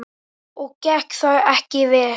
Og gekk það ekki vel.